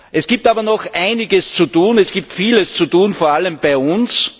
Es gibt aber noch einiges zu tun, es gibt vieles zu tun, vor allem bei uns.